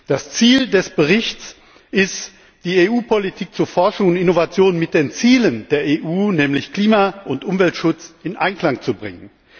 Das Ziel des Berichts ist es, die EU Politik zu Forschung und Innovation mit den Zielen der EU nämlich Klima und Umweltschutz in Einklang zu bringen.